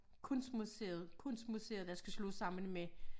Kunstmuseet kunstmuseet der skal slås sammen med